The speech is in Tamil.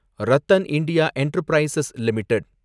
RattanIndia enterprises limited